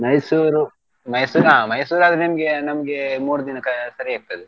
Mysore, Mysore ಹಾ Mysore ಆದ್ರೆ ನಿಮ್ಗೆ ನಮ್ಗೆ ಮೂರ್ ದಿನಕ್ಕೆ ಸರಿ ಆಗ್ತದೇ.